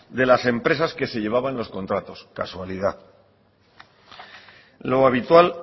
de las empresas que se llevaban los contratos casualidad lo habitual